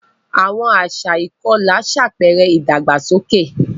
Àwọn àṣà ìkọlà ṣàpẹẹrẹ ìdàgbàsókè.